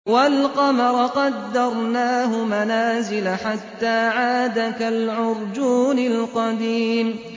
وَالْقَمَرَ قَدَّرْنَاهُ مَنَازِلَ حَتَّىٰ عَادَ كَالْعُرْجُونِ الْقَدِيمِ